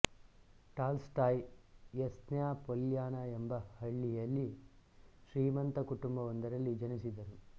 tall ಸ್ಟಾಯ್ Yasnaya Polyana ಎಂಬ ಹಳ್ಳಿಯಲ್ಲಿ ಶ್ರೀಮಂತ ಕುಟುಂಬವೊಂದರಲ್ಲಿ ಜನಿಸಿದರು